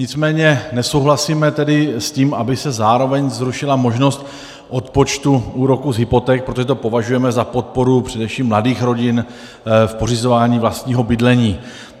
Nicméně nesouhlasíme tedy s tím, aby se zároveň zrušila možnost odpočtu úroků z hypoték, protože to považujeme za podporu především mladých rodin v pořizování vlastního bydlení.